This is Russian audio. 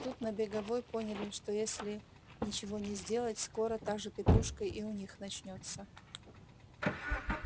тут на беговой поняли что если ничего не сделать скоро та же петрушка и у них начнётся